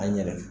An yɛrɛ